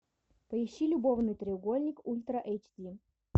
поищи любовный треугольник ультра эйч ди